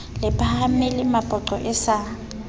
le phahamele mapoqo e sa